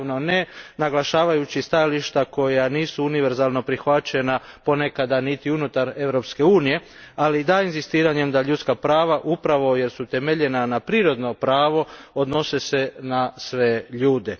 Naravno, ne naglašavajući stajališta koja nisu univerzalno prihvaćena, ponekada niti unutar Europske unije, ali da inzistiranjem da se ljudska prava, upravo jer su temeljena na prirodnom pravu, odnose na sve ljude.